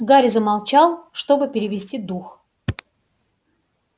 гарри замолчал чтобы перевести дух